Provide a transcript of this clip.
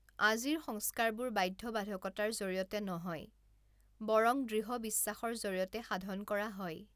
আজিৰ সংস্কাৰবোৰ বাধ্যবাধকতাৰ জৰিয়তে নহয়, বৰং দৃড় বিশ্বাসৰ জৰিয়তে সাধন কৰা হয়